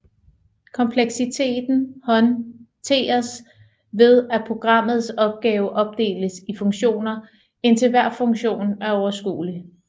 Kompleksiteten håndteres ved at programmets opgave opdeles i funktioner indtil hver funktion er overskuelig